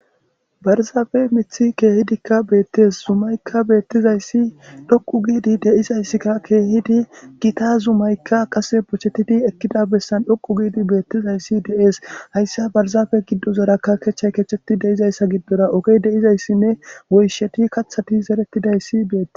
Barzaafe mithi keehidikka beettes zumaykka bettizayssi dhoqu giidi deizayssikka keehidi gita zumaykka qase bochettidi ekkida bessan dhoqu giidi beettizayssi deees hayssa barzaafe giddo zorakka kechchay kecheti deizayssa giddora ogey deizayssinne woysheti kathati zeretidayssi beete.